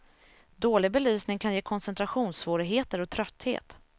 Dålig belysning kan ge koncentrationssvårigheter och trötthet.